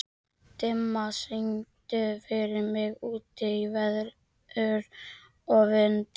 Dimma, syngdu fyrir mig „Út í veður og vind“.